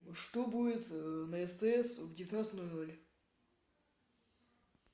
что будет на стс в девятнадцать ноль ноль